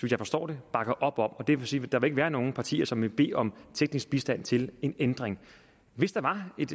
jeg forstår bakker op om det vil sige at der ikke vil være nogen partier som vil bede om teknisk bistand til en ændring hvis der var et